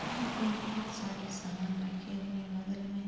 यहाँ पे बोहोत सारे सामान रखे हुए हैं। बगल में --